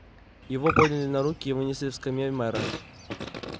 его подняли на руки и вынесли к скамье мэра